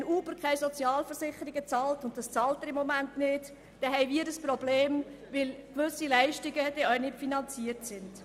Wenn Uber keine Sozialversicherungen bezahlt – und das tut das Unternehmen gegenwärtig nicht –, dann haben wir ein Problem, weil dann gewisse Leistungen auch nicht finanziert sind.